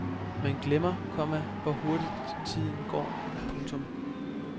Man glemmer, komma hvor hurtigt tiden går. punktum